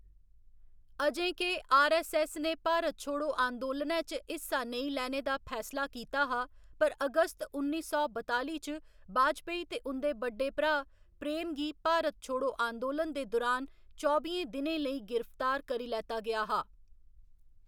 अजें के आरऐस्सऐस्स ने भारत छोड़ो आंदोलनै च हिस्सा नेईं लैने दा फैसला कीता हा, पर अगस्त उन्नी सौ बताली च वाजपेयी ते उं'दे बड्डे भ्रा प्रेम गी भारत छोड़ो आंदोलन दे दुरान चौबियें दिनें लेई गिरफ्तार करी लैता गेआ हा।